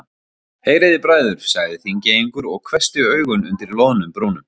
Heyrið þið bræður, sagði Þingeyingur og hvessti augun undir loðnum brúnum.